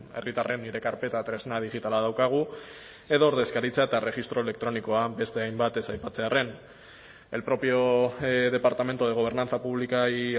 herritarren nire karpeta tresna digitala daukagu edo ordezkaritza eta erregistro elektronikoa beste hainbat ez aipatzearren el propio departamento de gobernanza pública y